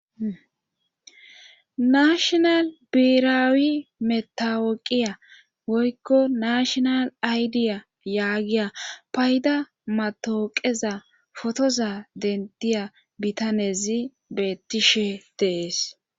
Nashinal beheraawi mettawoqiya woykko nashinal aydiya yaagiya payda maattawooqeza potoza denttiya bitanezi beettishe de7ees.